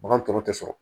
Bagan tɔw tɛ sɔrɔ